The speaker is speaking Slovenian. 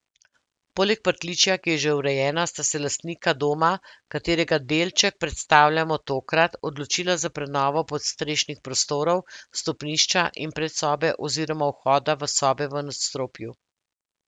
Poleg pritličja, ki je že urejeno, sta se lastnika doma, katerega delček predstavljamo tokrat, odločila za prenovo podstrešnih prostorov, stopnišča in predsobe oziroma vhoda v sobe v nadstropju.